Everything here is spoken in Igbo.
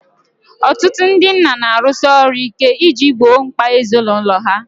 Ọtụtụ ndị nna na-arụsi ọrụ ike iji gboo mkpa ezinụlọ ha